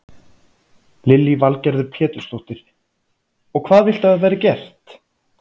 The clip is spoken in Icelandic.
Lillý Valgerður Pétursdóttir: Og hvað viltu að verði gert?